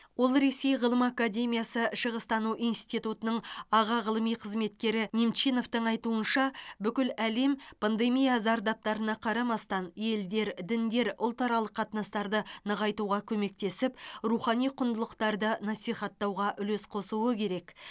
ал ресей ғылым академиясы шығыстану институтының аға ғылыми қызметкері немчиновтың айтуынша бүкіл әлем пандемия зардаптарына қарамастан елдер діндер ұлтаралық қатынастарды нығайтуға көмектесіп рухани құндылықтарды насихаттауға үлес қосуы керек